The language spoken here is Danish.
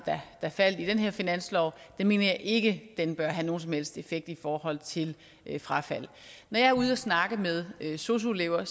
der faldt i den her finanslov mener jeg ikke bør have nogen som helst effekt i forhold til frafald når jeg er ude at snakke med sosu elever